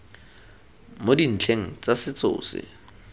mo dintlheng tsa setso tse